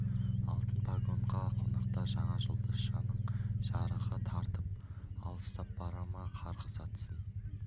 алтын погонға қонақтар жаңа жұлдызшаның жарығы тартып алыстап бара ма қарғыс атсын